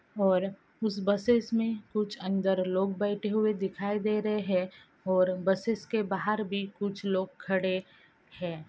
और उस बसेस में कुछ अन्दर लोग बैठे हुये दिखाई दे रहे हैं और बसेस के बाहर भी कुछ लोग खड़े हैं।